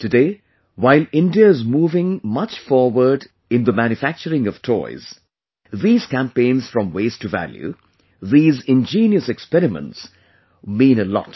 Today, while India is moving much forward in the manufacturing of toys, these campaigns from Waste to Value, these ingenious experiments mean a lot